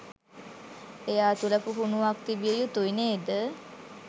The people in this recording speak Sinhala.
එයා තුළ පුහුණුවක් තිබිය යුතුයි නේද?